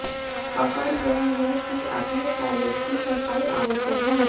पकड़ यह है कि अपने पैलेट की सफाई आवश्यक है